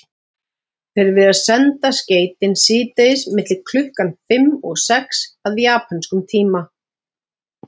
Þeir virðast senda skeytin síðdegis milli klukkan fimm og sex að japönskum tíma.